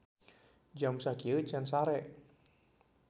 Jam sakieu can sare.